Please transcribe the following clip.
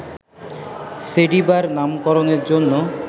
সেডিবার নামকরণের জন্য